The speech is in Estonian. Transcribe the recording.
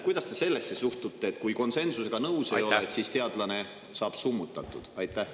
Kuidas te sellesse suhtute, et kui teadlane konsensusega nõus ei ole, on ta summutatud?